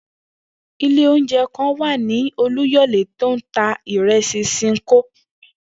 Ilé oúnje̩ kan wà ní Olúyò̩lé tó ń ta ìre̩sì S̩ìǹkó